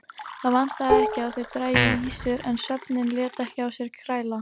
Það vantaði ekki að þau drægju ýsur en svefninn lét ekki á sér kræla.